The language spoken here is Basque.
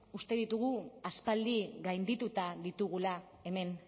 uste ditugu aspaldi gaindituta ditugula hemen